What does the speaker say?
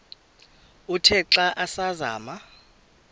uthe xa asazama